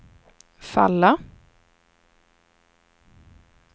falla